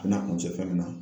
A bɛna kuncɛ fɛn min na.